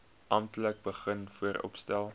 amptelik begin vooropstel